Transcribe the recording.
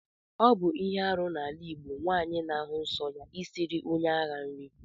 Ọbụ ihe arụ na ala igbọ nwanyi na-ahụ nsọ ya isiri onye aha nri.